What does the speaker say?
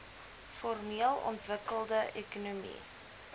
formeel ontwikkelde ekonomie